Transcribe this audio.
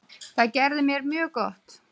Það gerði mér mjög gott.